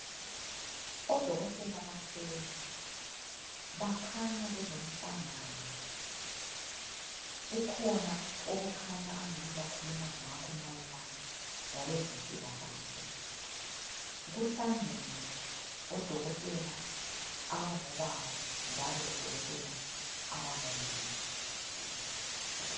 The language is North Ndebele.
Odokotela bahleli bakhanya belomhlangano kukhona okukhanya angani bakhuluma ngakho mayelana ngokwezempilakahle. Kuhlangene odokotela abangobaba njalo lodokotela abangomama.